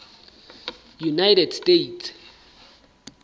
united states